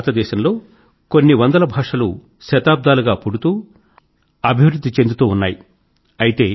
మన భారతదేశం లో కొన్ని వందల భాషలు శతాబ్దాలుగా పుడుతూ అభివృధ్ధి చెందుతూ ఉన్నాయి